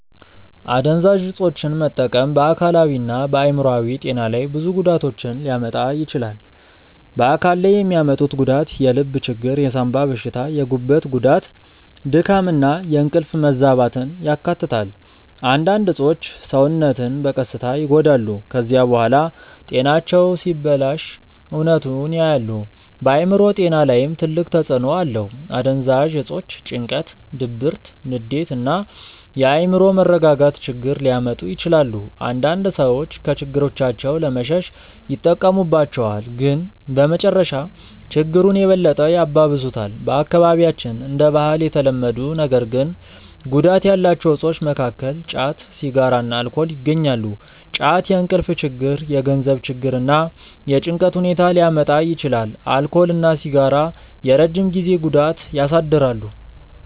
አደንዛዥ እፆችን መጠቀም በአካላዊና በአእምሮአዊ ጤና ላይ ብዙ ጉዳቶችን ሊያመጣ ይችላል። በአካል ላይ የሚያመጡት ጉዳት የልብ ችግር፣ የሳንባ በሽታ፣ የጉበት ጉዳት፣ ድካም እና የእንቅልፍ መዛባትን ያካትታል። አንዳንድ እፆች ሰውነትን በቀስታ ይጎዳሉ። ከዚያ በኋላ ጤናቸው ሲበላሽ እውነቱን ያያሉ። በአእምሮ ጤና ላይም ትልቅ ተጽእኖ አለው። አደንዛዥ እፆች ጭንቀት፣ ድብርት፣ ንዴት እና የአእምሮ መረጋጋት ችግር ሊያመጡ ይችላሉ። አንዳንድ ሰዎች ከችግሮቻቸው ለመሸሽ ይጠቀሙባቸዋል፣ ግን በመጨረሻ ችግሩን የበለጠ ያባብሱታል። በአካባቢያችን እንደ ባህል የተለመዱ ነገር ግን ጉዳት ያላቸው እፆች መካከል ጫት፣ ሲጋራ እና አልኮል ይገኛሉ። ጫት የእንቅልፍ ችግር፣ የገንዘብ ችግር እና የጭንቀት ሁኔታ ሊያመጣ ይችላል። አልኮል እና ሲጋራ የረጅም ጊዜ ጉዳት ያሳድራሉ።